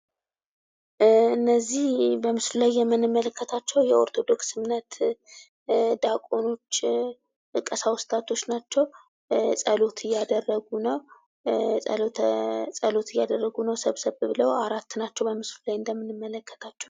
እነዚህ በምስሉ ላይ የምንመልከታቸው የ ኦርቶዶክስ እምነት ዲያቆኖች ቀሳውስታቶች ናቸው። ጸሎት እያደረጉ ነው ሰብሰብ ብለው በምስሉ ላይ እንደምንመለከታቸው።